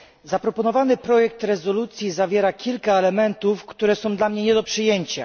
Zaproponowany projekt rezolucji zawiera kilka elementów, które są dla mnie nie do przyjęcia.